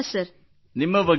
ನಿಮ್ಮ ಬಗ್ಗೆ ಹೇಳಿ